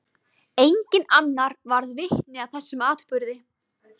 Enginn annar varð vitni að þessum atburði.